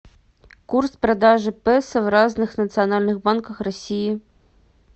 курс продажи песо в разных национальных банках россии